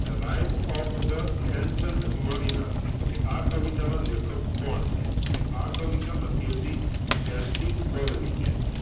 rhyme of the ancient mariner તો કે આ કવિતાના લેખક કોણ છે? તો કે આ કવિતા લખી હતી STcoleridge એ